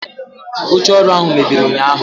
oche oru ahu mebiri unyahu